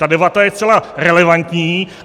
Ta debata je zcela relevantní.